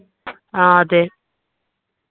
ആ അതെ